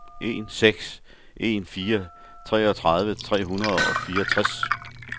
en seks en fire treogtredive tre hundrede og fireogtres